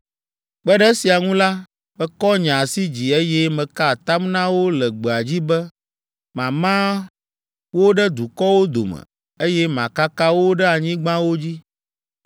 Kpe ɖe esia ŋu la, mekɔ nye asi dzi, eye meka atam na wo le gbea dzi be mama wo ɖe dukɔwo dome, eye makaka wo ɖe anyigbawo dzi,